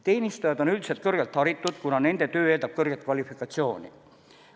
Teenistujad on üldiselt kõrgelt haritud, kuna nende töö eeldab kõrget kvalifikatsiooni.